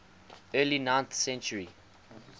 early ninth century